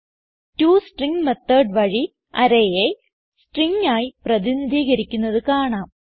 toString method വഴി arrayയെ string ആയി പ്രതിനിധീകരിക്കുന്നത് കാണാം